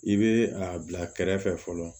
I bɛ a bila kɛrɛfɛ fɔlɔ